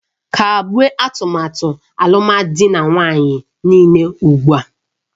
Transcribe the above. Kagbuo atụmatụ alụmdi na nwunye niile ugbu a!